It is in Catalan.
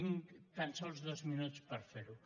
tinc tan sols dos minuts per fer ho